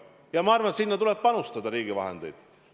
Ja ma arvan, et sinna tuleb panustada riigi vahendeid.